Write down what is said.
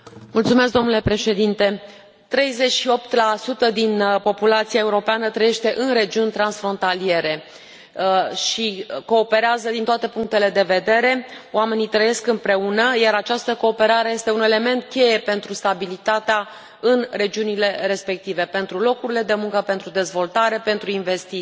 Domnule președinte, 38 din populația europeană trăiește în regiuni transfrontaliere și cooperează din toate punctele de vedere oamenii trăiesc împreună, iar această cooperare este un element cheie pentru stabilitatea în regiunile respective, pentru locurile de muncă, pentru dezvoltare, pentru investiții.